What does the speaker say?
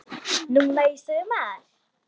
Núna í sumar?